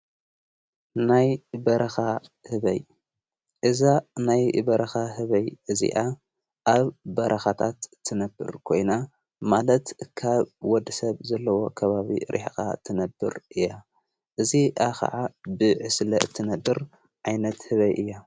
ናይ በረኻ ህበይ እዛ ናይ በረኻ ህበይ እዚኣ ኣብ በረኻታት ትነብር ኮይና ማለት ካብ ወዲ ሰብ ዘለዎ ከባቢ ርኅኻ ትነብር እያ እዝ ኣኸዓ ብዕስለ እትነድር ኣይነት ህበይ እያ::